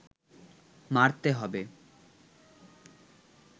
মারতে হবে